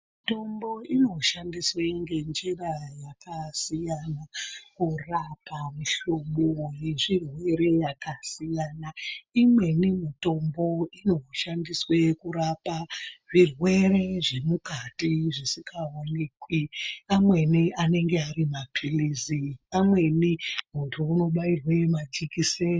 Mitombo inoshandiswe ngenjira dzakasiyana kurapa mihlobo yezvirwere zvakasiyana. Imweni mitombo inoshandiswe kurapa zvirwere zvemukati zvisingaoneki. Amweni anenge ari maphirizi. Amweni muntu unobairwe jekiseni.